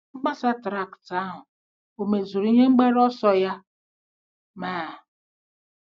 Mgbasa traktị ahụ ò mezuru ihe mgbaru ọsọ ya? Mr.